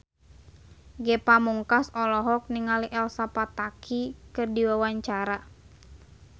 Ge Pamungkas olohok ningali Elsa Pataky keur diwawancara